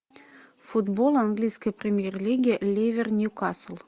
футбол английской премьер лиги ливер ньюкасл